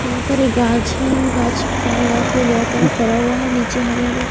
बहोत सारी घास है घास से सारे घास पे बहोत फरा हुआ है नीचे हरे हरे --